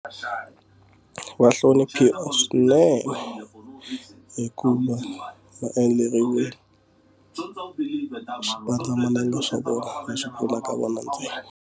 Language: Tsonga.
Va hloniphiwa swinene hikuva ma endleriwe ndza mibedo xipandzamananga xa vona xa pfuna ka vona ntirho.